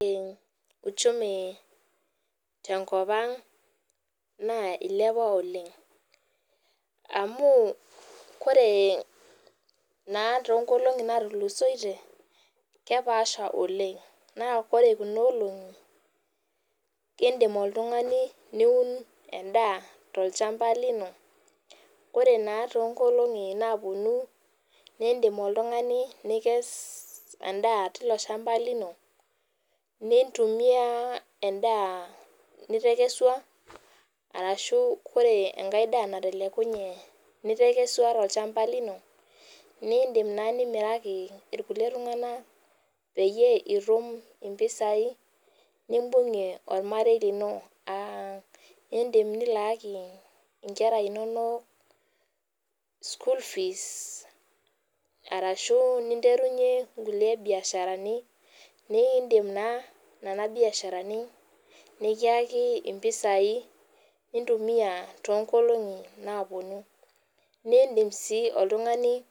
Ore uchumi tenkop aang na ilepa oleng amu koree na tonkolongi natukusoitie na kepaasha oleng na ore kuna olongi indim oltungani niun tolchamba lino ore naa tonkolongi naponu nindim oltungani nikes tilo shamba lino nintumia endaa nitekesua arashu ore enkae daa natelekunye nitekesua tolchamba lino nindim nimiraki irkulie tunganak peyie itum mpisai nimbungie ormarei lino aa indim nilaaki nkera inonok school fees ashubninyerunye nkuli biasharani nidim na nona biasharani nikiaki mpisai nintumia tonkolongi naponu nindim si oltungani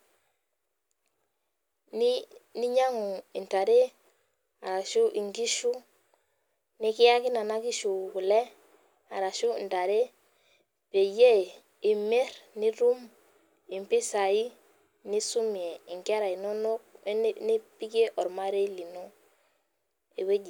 ninyangu ntare arashu nkishu nikiyaki nona kishu kule peyie imir nitum impisai nisumie nkera inonok wenipikie ormarei lino ewueji.